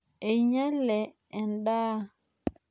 Einyale endaa.